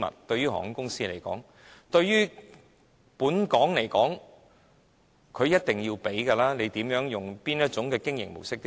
對於香港而言，他們是一定要付錢的，無論哪種經營模式都要付錢。